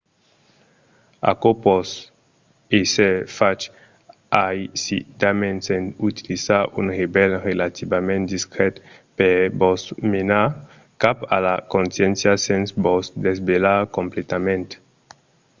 aquò pòt èsser fach aisidament en utilizar un revelh relativament discret per vos menar cap a la consciéncia sens vos desvelhar completament